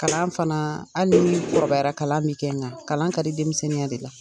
Kalan fana hali ni kɔrɔbayara kalan min kɛ nga kalan ka di denmisɛnninya